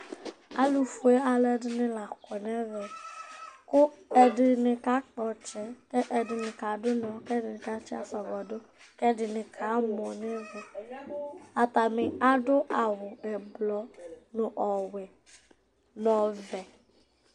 Alʋfue alʋɛdɩnɩ la kɔ nʋ ɛvɛ kʋ ɛdɩnɩ kakpɔ ɔtsɛ, ɛdɩnɩ kadʋ ʋnɔ kʋ ɛdɩnɩ katsɩ asɔgɔ dʋ kʋ ɛdɩnɩ kamɔ nʋ ɛvɛ atanɩ adʋ awʋ ɛblɔ nʋ ɔwɛ nʋ ɔvɛ